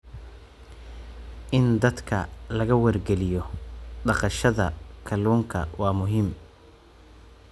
In dadka laga wargeliyo dhaqashada kalluunka waa muhiim.